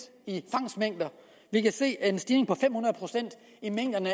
vi kan se en stigning på fem hundrede procent i mængden